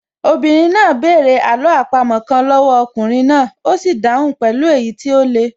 Obìnrin náà bẹ̀rẹ̀ àló àpamọ́ kan lọ́wọ́ ọkùnrin náà, ó sì dáhùn pẹ̀lú èyí tó le